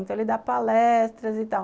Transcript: Então, ele dá palestras e tal.